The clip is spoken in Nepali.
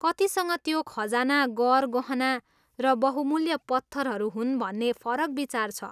कतिसँग त्यो खजाना गरगहना र बहुमूल्य पत्थरहरू हुन् भन्ने फरक विचार छ।